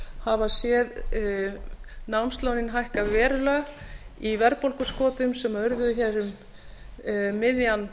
hafa séð námslánin hækka verulega í verðbólguskotum sem urðu um miðjan